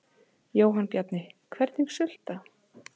Jóhann Bjarni: Hvernig sulta?